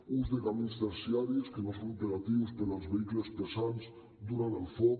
ús de camins terciaris que no són operatius per als vehicles pesants durant el foc